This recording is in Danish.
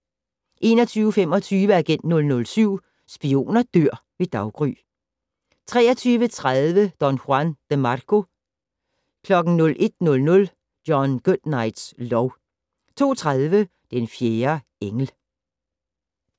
21:25: Agent 007 - Spioner dør ved daggry 23:30: Don Juan DeMarco 01:00: John Goodnights lov 02:30: Den fjerde engel